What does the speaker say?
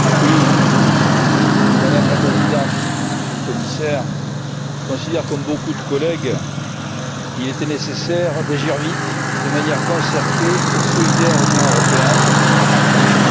Madame la Présidente, Monsieur le Commissaire, je considère, comme beaucoup de collègues, qu'il était nécessaire d'agir vite, de manière concertée et solidaire au niveau européen et je voudrais vous en remercier.